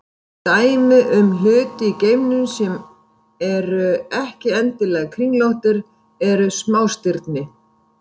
Dæmi um hluti í geimnum sem eru ekki endilega kringlóttir eru smástirni.